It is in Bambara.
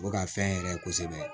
O bɛ ka fɛn yɛrɛ kɛ kosɛbɛ